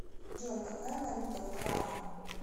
джой какая валюта в ухане